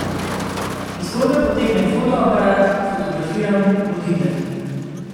Iz torbe potegnem fotoaparat, fotografiram, odidem.